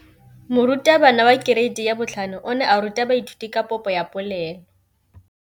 Moratabana wa kereiti ya 5 o ne a ruta baithuti ka popô ya polelô.